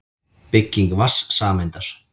Bygging vatnssameindar.